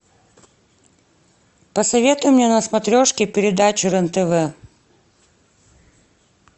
посоветуй мне на смотрешке передачу рен тв